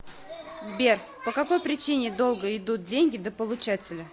сбер по какой причине долго идут деньги до получателя